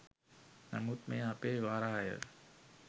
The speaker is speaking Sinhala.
නමුත් මෙය අපේ වරාය